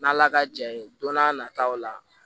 N'ala ka ja ye don n'a nataw la